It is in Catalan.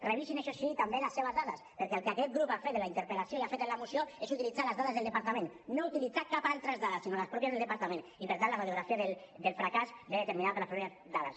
revisin això sí també les seves dades perquè el que aquest grup ha fet en la interpel·lació i ha fet en la moció és utilitzar les dades del departament no ha utilitzat cap altra dada sinó les pròpies del departament i per tant la radiografia del fracàs ve determinada per les mateixes dades